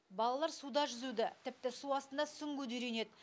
балалар суда жүзуді тіпті су астында сүңгуді үйренед